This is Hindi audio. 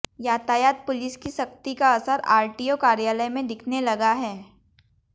यातायात पुलिस की सख्ती का असर आरटीओ कार्यालय में दिखने लगा है